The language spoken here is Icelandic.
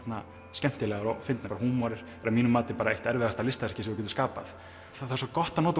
skemmtilegar og fyndnar og húmor er að mínu mati bara eitt erfiðasta listaverkið sem þú getur skapað það er svo gott að nota